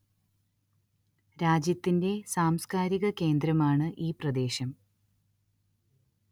രാജ്യത്തിന്റെ സാംസ്കാരിക കേന്ദ്രമാണ് ഈ പ്രദേശം